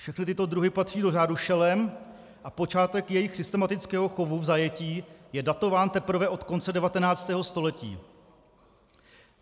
Všechny tyto druhy patří do řádu šelem a počátek jejich systematického chovu v zajetí je datován teprve od konce 19. století.